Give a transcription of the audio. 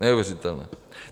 Neuvěřitelné.